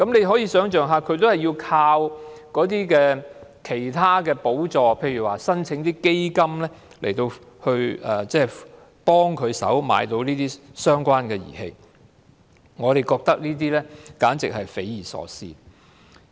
可以想象他們要靠其他補助，例如申請基金來幫助購買相關儀器，我們覺得這樣簡直是匪夷所思。